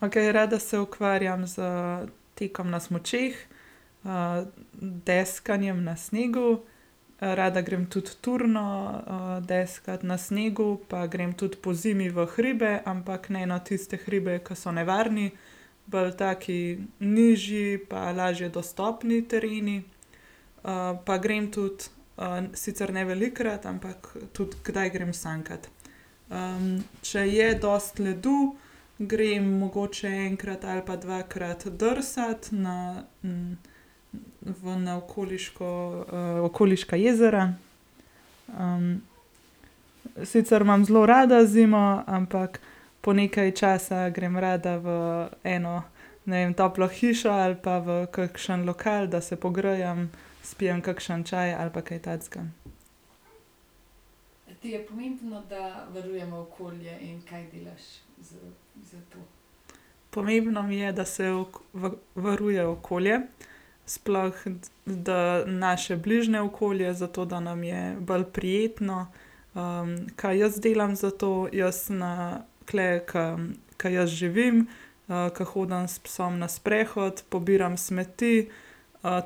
Okej, rada se ukvarjam s tekom na smučeh, deskanjem na snegu, rada grem tudi turno, deskat na snegu pa grem tudi pozimi v hribe, ampak ne na tiste hribe, ke so nevarni, bolj taki nižji pa lažje dostopni tereni. pa grem tudi, sicer ne velikokrat, ampak tudi kdaj grem sankat. če je dosti ledu, grem mogoče enkrat ali pa dvakrat drsat na, v na okoliško, okoliška jezera. sicer imam zelo rada zimo, ampak po nekaj časa grem rada v eno, ne vem, toplo hišo ali pa v kakšen lokal, da se pogrejem, spijem kakšen čaj ali pa kaj takega. Pomembno mi je, da se varuje okolje. Sploh, da naše bližje okolje zato, da nam je bolj prijetno. kaj jaz delam za to, jaz na tule, ke, ke jaz živim, ke hodim s psom na sprehod, pobiram smeti,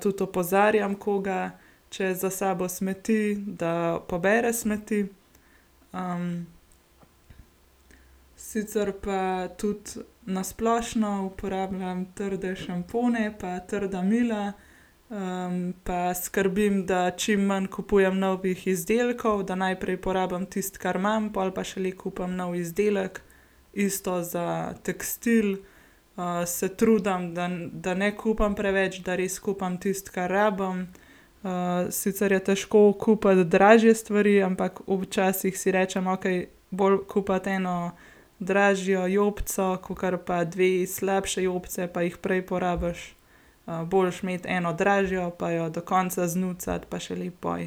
tudi opozarjam koga, če za sabo smeti, da pobere smeti. Sicer pa tudi na splošno uporabljam trde šampone pa trda imela. pa skrbim, da čim manj kupujem novih izdelkov, da najprej porabim tisto, kar imam. Pol pa šele kupim nov izdelek. Isto za tekstil, se trudim, da, da ne kupim preveč, da res kupim tisto, kar rabim. sicer je težko kupiti dražje stvari, ampak včasih si rečem: "Okej, bolje kupiti eno dražjo jopico, kakor pa dve slabši jopici, pa jih prej porabiš." boljše imeti eno dražjo pa jo do konca znucati, pa šele pol,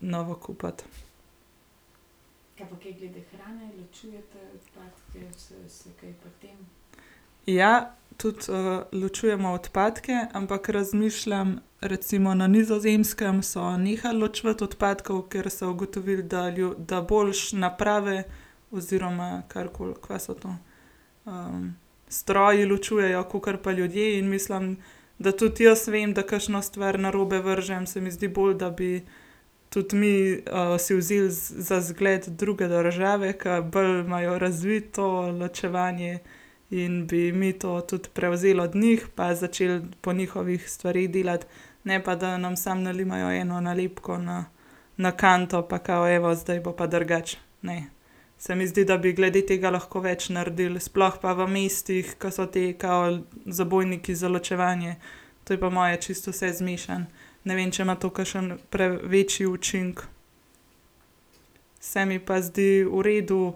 novo kupiti. Ja, tudi, ločujemo odpadke, ampak razmišljam, recimo na Nizozemskem so nehal ločevati odpadke, ker so ugotovili, da da boljše naprave oziroma karkoli, kva so to, stroji ločujejo kakor pa ljudje, in mislim, da tudi jaz vem, da kakšno stvar narobe vržem, se mi zdi bolj, da bi tudi mi, si vzeli za zgled druge države, ke bolj imajo razviti to ločevanje in bi mi to tudi prevzeli od njih pa začeli po njihovih stvari delati. Ne pa da nam samo nalimajo eno nalepko na, na kanto, pa kao, evo, zdaj bo pa drugače, ne. Se mi zdi, da bi glede tega lahko več naredili, sploh pa v mestih, ke so ti kao zabojniki za ločevanje. To je po moje čisto vse zmešano. Ne vem, če ima to kakšen večji učinek. Se mi pa zdi v redu,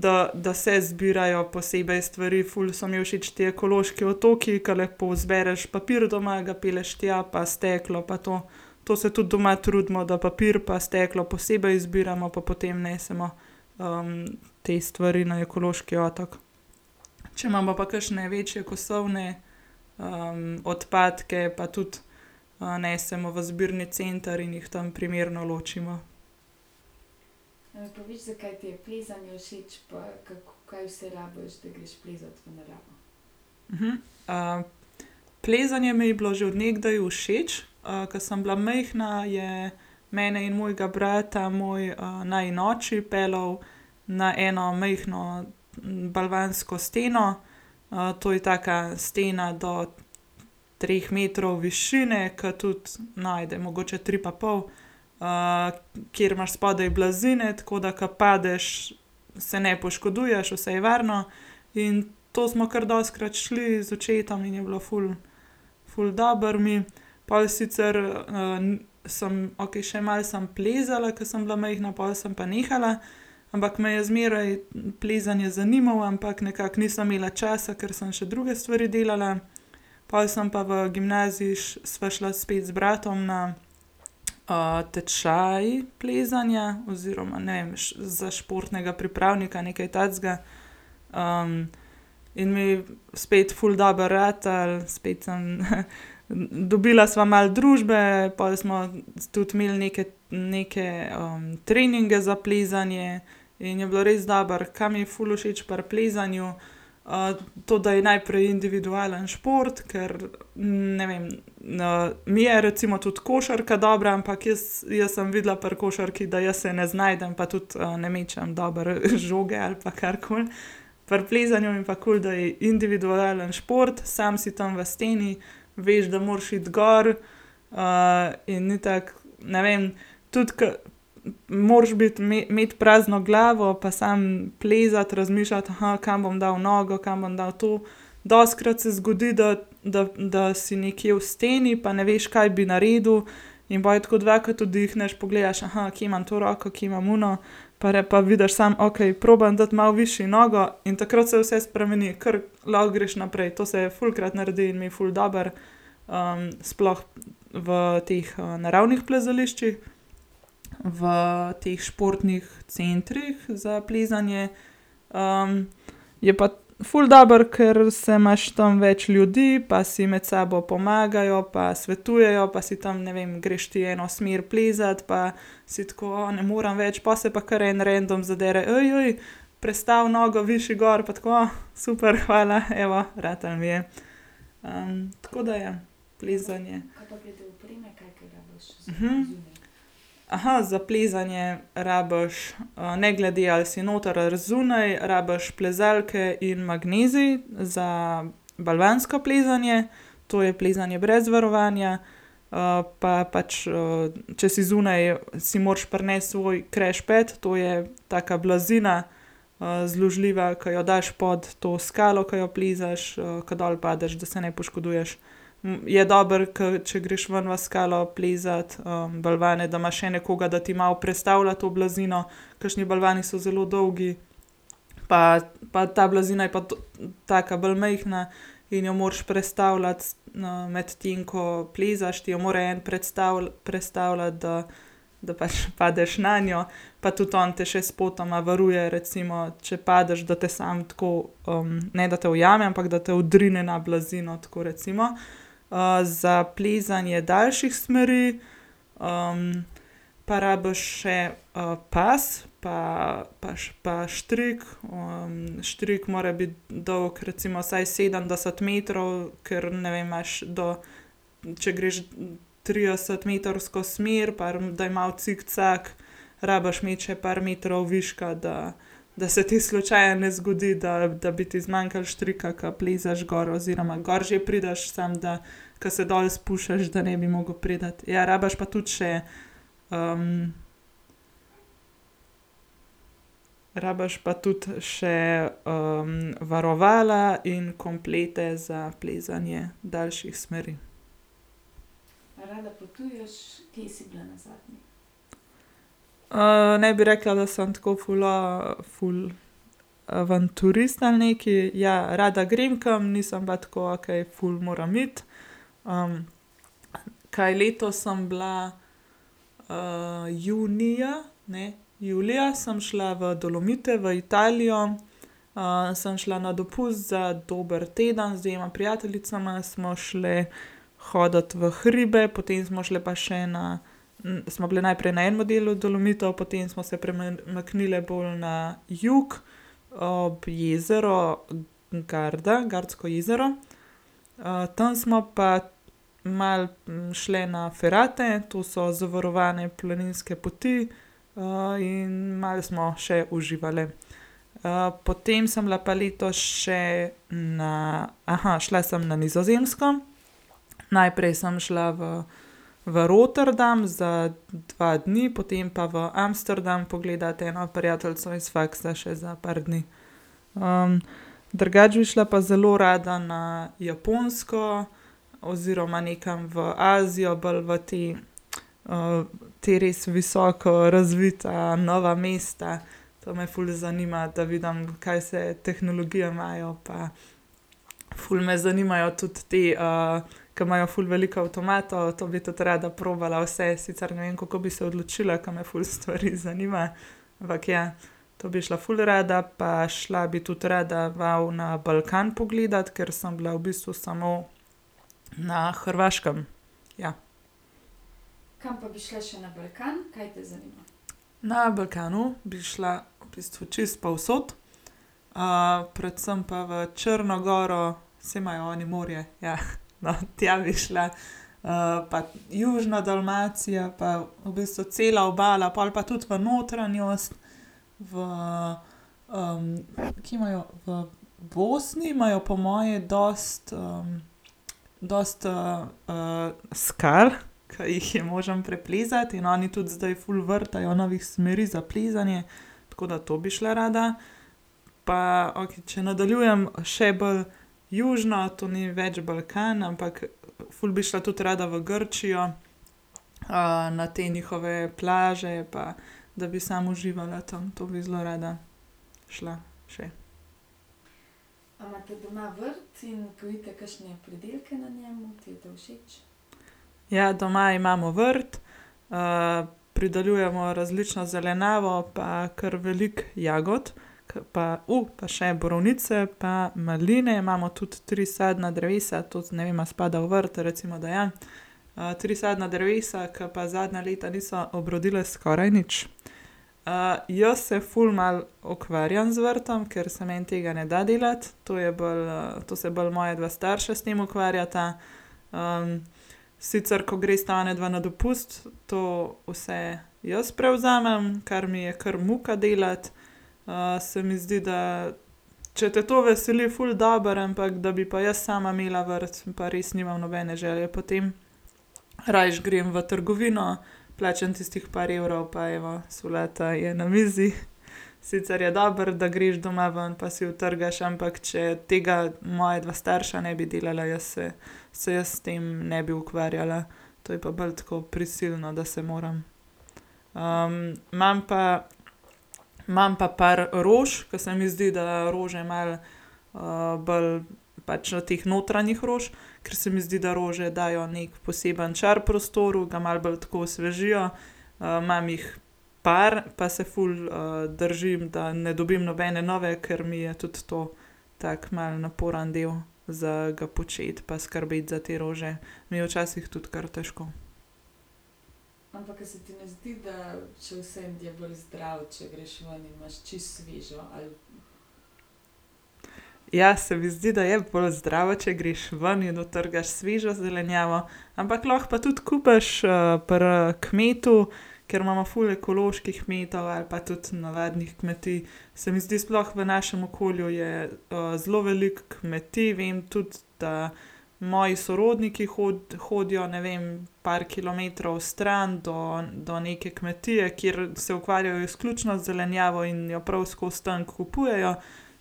da, da se zbirajo posebej stvari, ful so mi všeč ti ekološki otoki, ke lepo zbereš papir doma, ga pelješ tja, pa steklo pa to. To se tudi doma trudimo, da papir pa steklo posebej zbiramo, pa potem nesemo, te stvari na ekološki otok. Če imamo pa kakšne večje kosovne, odpadke, pa tudi, nesemo v zbirni center in jih tam primerno ločimo. plezanje mi je bilo že od nekdaj všeč, ke sem bila majhna, je mene in mojega brata moj, najin oči peljal na eno majhno, balvansko steno. to je taka stena do treh metrov višine, ker tudi, no, ajde, mogoče tri pa pol. kjer imaš spodaj blazine, tako da, ko padeš, se ne poškoduješ, vse je varno. In to smo kar dostikrat šli z očetom in je bilo ful ful dobro mi. Pol sicer, sem, okej, še malo sem plezala, ke sem bila majhna, pol sem pa nehala, ampak me je zmeraj plezanje zanimalo, ampak nekako nisem imela časa, ker sem še druge stvari delala, pol sem pa v gimnaziji sva šla spet z bratom na, tečaj plezanja oziroma, ne vem, za športnega pripravnika, nekaj takega. in mi spet ful dobro ratalo, spet sem dobila sva malo družbe pol smo tudi imeli neke, neke, treninge za plezanje. In je bilo res dobro, kaj mi je res všeč pri plezanju, to, da je najprej individualni šport, kar, ne vem, mi je recimo tudi košarka dobra, ampak jaz, jaz sem videla pri košarki, da jaz se ne znajdem, pa tudi, ne mečem dobro žoge ali pa karkoli. Pri plezanju mi je pa kul, da je individualni šport, sam si tam v steni. Veš, da moraš iti gor, in itak, ne vem, tudi k moraš biti, imeti prazno glavo pa samo plezat, razmišljati, kam bom dal nogo, kam bom dal to. Dostikrat se zgodi, da, da, da si nekje v steni, pa ne veš, kaj bi naredil, in pol je tako dvakrat vdihneš, pogledaš, kje imam to roko, kje imam ono, pa vidiš samo, okej, probam dati malo višje nogo in takrat se vse spremeni, ker lahko greš naprej, to se je fulkrat naredi in mi ful dobro. sploh v teh, naravnih plezališčih. V teh športnih centrih za plezanje, je pa ful dobro, ker se imaš tam več ljudi pa si med sabo pomagajo pa svetujejo pa si tam, ne vem, greš ti eno smer plezat pa si tako: "O, ne morem več," pol se pa kar en random zadere: prestavi nogo višje gor," pa tako, "super hvala, ratalo mi je". tako da, ja, plezanje. za plezanje rabiš, ne glede, ali si noter ali zunaj, rabiš plezalke in magnezij za balvansko plezanje, to je plezanje brez varovanja. pa pač, če si zunaj, si moraš prinesti svoj crash pad, to je taka blazina, zložljiva, ke jo daš pod to skalo, ke jo plezaš, ke dol padeš, da se ne poškoduješ. je dobro, ke, če greš ven v skalo plezat, balvane, da imaš še nekoga, da ti malo prestavlja to blazino, kakšni balvani so zelo dolgi pa, pa ta blazina je pa to taka bolj majhna in jo moraš prestavljati, medtem ko plezaš, ti jo more en prestavljati, da, da pač padeš nanjo pa tudi on te še spotoma varuje, recimo, če padeš, da te samo tako, ne, da te ujame, ampak da te odrine na blazino tako, recimo. za plezanje daljših smeri, pa rabiš še, pas, pa pa štrik, štrik mora biti dolgo recimo vsaj sedemdeset metrov, ker ne vem, imaš do, če greš tridesetmetrsko smer, par da je malo cikcak, rabiš imeti še par metrov viška, da, da se ti slučajno ne zgodi, da, da bi ti zmanjkalo štrika, ke plezaš gor, oziroma gor že prideš samo da, ke se dol spuščaš, da ne bi mogel priti. Ja, rabiš pa tudi še, rabiš pa tudi še, varovala in komplete za plezanje daljših smeri. ne bi rekla, da sem tako ful, ful avanturist ali nekaj, ja, rada grem kam, nisem pa tako, okej ful moram iti. kaj letos sem bila, junija, ne, julija sem šla v Dolomite v Italijo. sem šla na dopust za dober teden. Z dvema prijateljicama smo šle hodit v hribe, potem smo šli pa še na, smo bile najprej na enem delu Dolomitov, potem smo se premaknile bolj na jug. ob jezero Garda, Gardsko jezero. tam smo pa malo šle na ferate. To so zavarovane planinske poti. in malo smo še uživale. potem sem bila pa letos še na, šla sem na Nizozemsko. Najprej sem šla v, v Rotterdam za dva dni, potem pa v Amsterdam pogledat eno prijateljico iz faksa še za par dni. drugače bi šla pa zelo rada na Japonsko. Oziroma nekam v Azijo bolj v te, ta res visoko razvita nova mesta. To me ful zanima, da vidim, kaj vse tehnologijo imajo pa, ful me zanimajo tudi te, ker imajo ful veliko avtomatov, to bi tudi rada probala vse, sicer ne vem, kako bi se odločila, ke me ful stvari zanima, ampak, ja. To bi šla ful rada pa šla bi tudi rada malo na Balkan pogledat, ker sem bila v bistvu samo na Hrvaškem. Ja. Na Balkanu bi šla v bistvu čisto povsod. predvsem pa v Črno goro, saj imajo oni morje, ja, no, tja bi šla. pa južno Dalmacijo pa v bistvu cela obala, pol pa tudi v notranjost v, kje imajo v Bosni imajo po moje dosti, dosti, skal, ker jih je možno preplezati in oni tudi zdaj ful vrtajo novih smeri za plezanje. Tako da to bi šla rada. Pa okej, če nadaljujem še bolj južno, to ni več Balkan, ampak ful bi šla tudi rada v Grčijo. na te njihove plaže pa, da bi samo uživala tam, to bi zelo rada šla še. Ja, doma imamo vrt. pridelujemo različno zelenjavo pa kar veliko jagod. Ke pa, pa še borovnice pa maline. Imamo tudi tri sadna drevesa, to, ne vem, a spada v vrt. Recimo, da ja. tri sadna drevesa, ke pa zadnja leta niso obrodila skoraj nič. jaz se ful malo ukvarjam z vrtom. Ker se meni tega ne da delati. To je bolj, to se bolj moja dva starša s tem ukvarjata. sicer, ko gresta onadva na dopust, to vse jaz prevzamem, kar mi je kar muka delati. se mi zdi, da če te to veseli, ful dobro, ampak da bi pa jaz sama imela vrt, pa res nimam nobene želje po tem. Rajši grem v trgovino, plačam tistih par evrov pa evo solata je na mizi. Sicer je dobro, da greš doma ven pa si jo odtrgaš, ampak če tega moja dva starša ne bi delala, jaz se, se jaz s tem ne bi ukvarjala. To je pa bolj tako prisilno, da se moram. imam pa, imam pa par rož, ker se mi zdi, da rože malo, bolj pač teh notranjih rož, ker se mi zdi, da rože dajo neki poseben čar prostoru, ga malo bolj tako osvežijo. imam jih par pa se ful, držim, da ne dobim nobene nove, ker mi je tudi to tako malo naporen del za ga početi pa skrbeti za te rože, mi je včasih tudi kar težko. Ja, se mi zdi, da je bolj zdravo, če greš ven in odtrgaš svežo zelenjavo, ampak lahko pa tudi kupiš, pri kmetu, ker imamo ful ekoloških kmetov ali pa tudi navadnih kmetij. Se mi zdi sploh v našim okolju je, zelo veliko kmetij, vem tudi, da moji sorodniki hodijo, ne vem, par kilometrov stran do, do neke kmetije, kjer se ukvarjajo izključno z zelenjavo in jo prav skozi tam kupujejo.